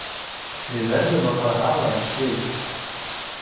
Við verðum að fara að hala inn stigum.